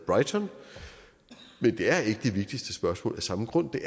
brighton men det er ikke det vigtigste spørgsmål af samme grund det